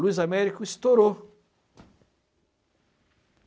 Luiz Américo estourou.